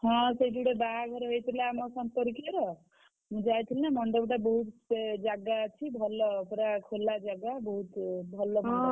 ହଁ ସେଇଠି ଗୋଟେ ବାହାଘର ହେଇଥିଲା ଆମ ସମ୍ପର୍କୀୟର ମୁଁ ଯାଇଥିଲି ମଣ୍ଡପ୍ ଟା ବହୁତ୍ ସେ ଜାଗା ଅଛି ଭଲ ପୁରା ଖୋଲା ଜାଗା ବହୁତ୍ ଭଲ photo ଉଠେ।